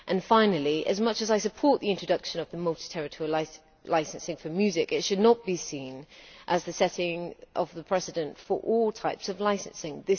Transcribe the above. Finally, as much as I support the introduction of the multi territorial licensing for music, it should not be seen as the setting of a precedent for all types of licensing.